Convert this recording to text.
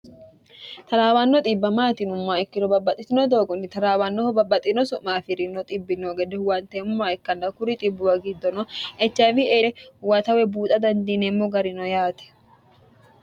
taraawanno xibba maati yinummoha ikkiro babbaxitino doogonni taraawannoho babbaxino su'ma afirino xibe noo gede huwanteemoha ikknna kuri xibbuwa gidono HIV huwata woy buuxa dandiinemmo garino yaate.